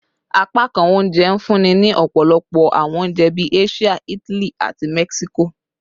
Apakan ounjẹ nfunni ni ọpọlọpọ awọn ounjẹ bii Asia, Itali, ati Mexico